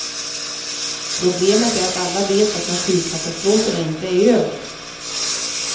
Problemet är att alla vet att naturkatastroferna inte är över.